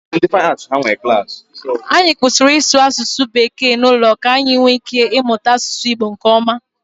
Anyị kwụsịrị ịsụ asụsụ bekee n'ụlọ ka anyị nwee ike ịmụta asụsụ Igbo nkeọma.